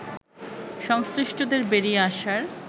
সংশ্লিষ্টদের বেরিয়ে আসার